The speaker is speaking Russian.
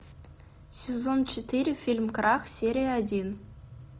сезон четыре фильм крах серия один